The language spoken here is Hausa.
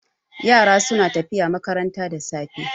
Yara suna tafiya makaranta da safe.